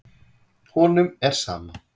Honum er sama.